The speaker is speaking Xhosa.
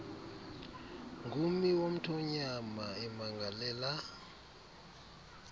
ngummi womthonyama emangalela